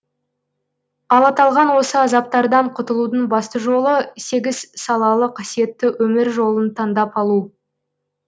ал аталған осы азаптардан құтылудың басты жолы сегіз салалы қасиетті өмір жолын тандап алу